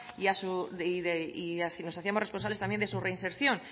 y nos hacíamos responsables también de su reinserción